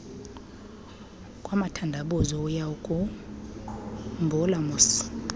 kwamathandabuzo uyawukhumbula moss